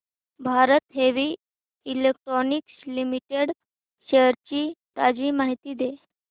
Bharat heavy electricals limited shares ची ताजी माहिती दे